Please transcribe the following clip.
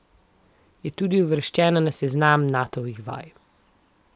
Je tudi uvrščena na seznam Natovih vaj.